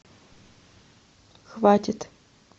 хватит